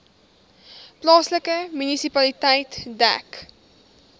plaaslike munisipaliteit dek